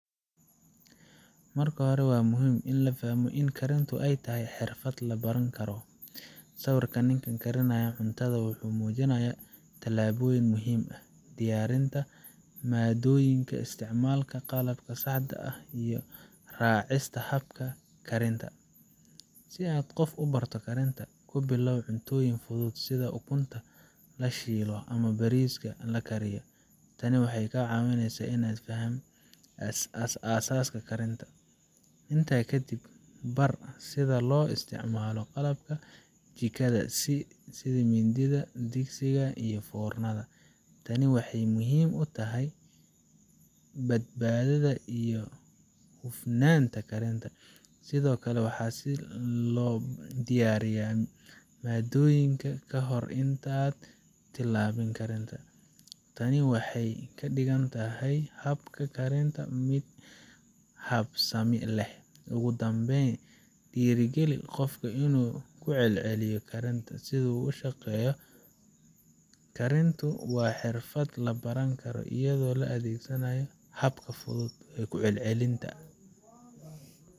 Marka hore, waa muhiim in la fahmo in karintu ay tahay xirfad la baran karo. Sawirka ninka karaya cuntada wuxuu muujinayaa tallaabooyin muhiim ah: diyaarinta maaddooyinka, isticmaalka qalabka saxda ah, iyo raacista habka karinta. Si aad qof u barato karinta, ku bilow cuntooyin fudud sida ukunta la shiilo ama bariiska la kariyo. Tani waxay ka caawinaysaa inay fahmaan aasaaska karinta. Intaa ka dib, bar sida loo isticmaalo qalabka jikada sida mindida, digsiga, iyo foornada. Tani waxay muhiim u tahay badbaadada iyo hufnaanta karinta. Sidoo kale, bar sida loo diyaariyo maaddooyinka ka hor inta aan la bilaabin karinta. Tani waxay ka dhigeysaa habka karinta mid habsami leh. Ugu dambeyn, dhiirrigeli qofka inuu ku celceliyo karinta. Sida uu sheegay, karintu waa xirfad la baran karo iyadoo la adeegsanayo habab fudud iyo ku celcelinta.